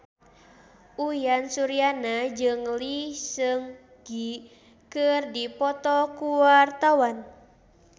Uyan Suryana jeung Lee Seung Gi keur dipoto ku wartawan